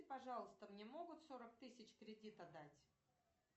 пожалуйста мне могут сорок тысяч кредита дать